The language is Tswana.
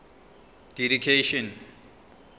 didactician